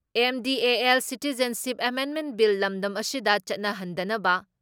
MDA ꯑꯦꯜ citizenship ꯑꯦꯃꯦꯟꯃꯦꯟ bill ꯂꯝꯗꯝ ꯑꯁꯤꯗ ꯆꯠꯅꯍꯟꯗꯅꯕ